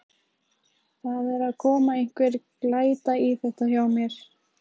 Það er að koma einhver glæta í þetta hjá mér.